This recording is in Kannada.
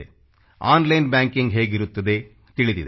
ಆನ್ಲೈನ್ ಬ್ಯಾಂಕಿಂಗ್ ಹೇಗಿರುತ್ತದೆ ತಿಳಿದಿದೆ